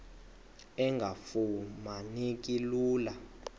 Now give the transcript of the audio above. engafuma neki lula